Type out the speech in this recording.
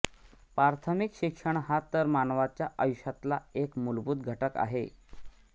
प्रार्थमिक शिक्षण हा तर मानवाच्या आयुष्यातला एक मुलभूत घटक आहे